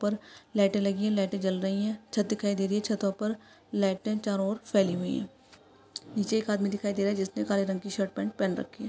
ऊपर लाइटें लगि है लाइटें जल रही है छत दिखाई दे रही है छतों पर लाइटें चारो और फैली हुई है नीचे एक आदमी दिखाई दे रहा है जिसने काले रंग की शर्ट पैंट पहन रखी है।